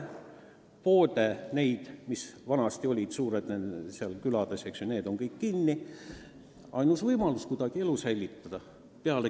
Poed, mis vanasti külades ikka olid, eks ju, on kinni.